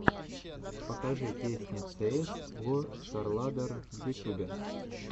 покажи песня цеэс го старладдер в ютюбе